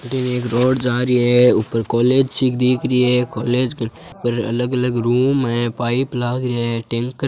न एक रोड जा रही है ऊपर कोलेज सी दिख री है कोलेज के अलग अलग रूम है पाइप लागरिया है टैंकर है।